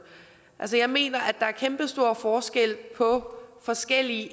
jeg mener at der er en kæmpestor forskel på forskellige